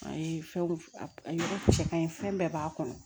A ye fɛnw yɔrɔ cɛ ka ɲi fɛn bɛɛ b'a kɔnɔ